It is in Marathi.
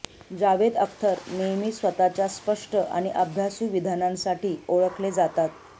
जावेद अख्तर नेहमीच स्वतःच्या स्पष्ट आणि अभ्यासु विधानांसाठी ओळखले जातात